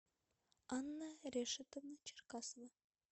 анна решетовна черкасова